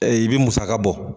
i bɛ musaka bɔ.